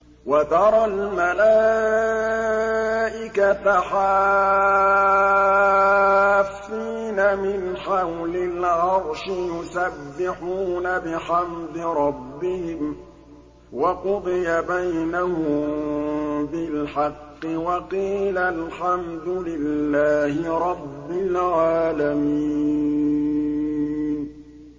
وَتَرَى الْمَلَائِكَةَ حَافِّينَ مِنْ حَوْلِ الْعَرْشِ يُسَبِّحُونَ بِحَمْدِ رَبِّهِمْ ۖ وَقُضِيَ بَيْنَهُم بِالْحَقِّ وَقِيلَ الْحَمْدُ لِلَّهِ رَبِّ الْعَالَمِينَ